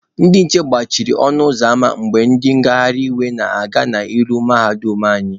Ndị nche gbachiri ọnụ ụzọ ama mgbe ndị ngagharị iwe na-aga n'ilo mahadum anyị.